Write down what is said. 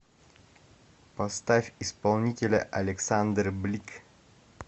поставь исполнителя александр блик